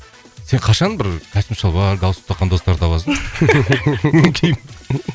сен қашан бір костюм шалбар галстук таққан достар табасың